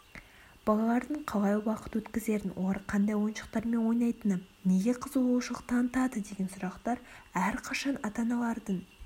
балалардың қалай уақыт өткізерін олар қандай ойыншықтармен ойнайтыны неге қызығушылық танытары деген сұрақтар әрқашан ата-аналардың